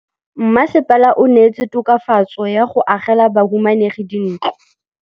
Mmasepala o neetse tokafatsô ka go agela bahumanegi dintlo.